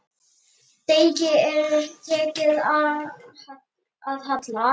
Degi er tekið að halla.